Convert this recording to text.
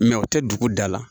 u tɛ dugu da la